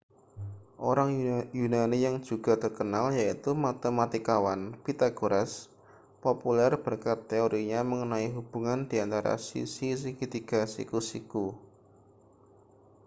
orang yunani yang juga terkenal yaitu matematikawan pythagoras populer berkat teorinya mengenai hubungan di antara sisi segitiga siku-siku